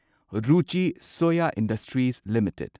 Ruchi Soya Industries limited